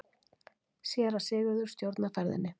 Séra Sigurður stjórnar ferðinni.